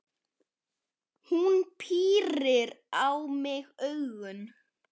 Hún pírir á mig augun.